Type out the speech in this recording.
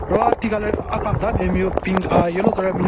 Ro ati ka le aka keda nme le binyon pink ahh yellow colour binyon.